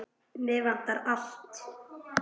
Mig vantar allt.